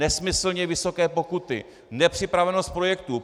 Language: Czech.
Nesmyslně vysoké pokuty, nepřipravenost projektu.